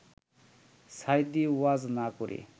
সাঈদী ওয়াজ না করে